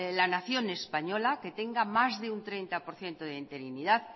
la nación española que tenga más de un treinta por ciento de interinidad